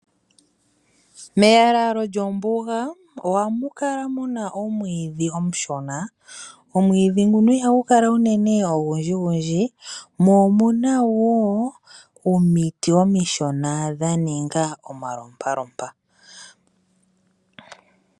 Meyalalo lyombuga, ohamu kala muna omwiidhi omushona. Omwiidhi ngoka ihagu kala unene ogundji, mo omuna wo omiti omishona dha ninga omalopalopa.